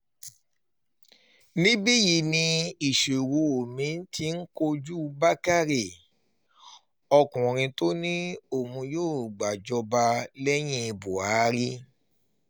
níbí yìí ni ìṣòro mi-ín ti kojú bàkàrẹ ọkùnrin tó ní òun yóò gbàjọba lẹ́yìn buhari